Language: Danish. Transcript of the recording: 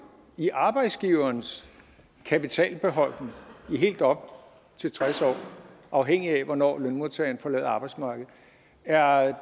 i arbejdsgiverens kapitalbeholdning i helt op til tres år afhængig af hvornår lønmodtageren forlader arbejdsmarkedet er